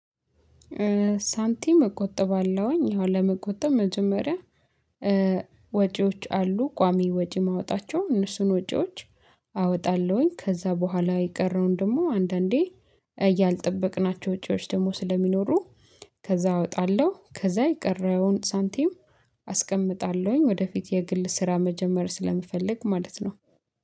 ሳንቲም እቆጥባለሁኝ። አሁን ለመቆጠብ መጀመሪያ ወጪዎች አሉ ቋሚ ወጪ ማውጣቸው እነሱን ወጪዎች። አወጣለሁኝ ከዛ በኋላ የቀረውን ደግሞ አንዳንዴ እያልጠበቅናቸው ወጪዎች ደግሞ ስለሚኖሩ ከዛ አወጣለሁ ከዛ የቀረውን ሳንቲም አስቀምጣለሁኝ። ወደፊት የግል ስራ መጀመር ስለምፈልግ ማለት ነው